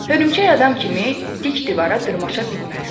Hörümçək adam kimi dik divara dırmaşa bilmərəm.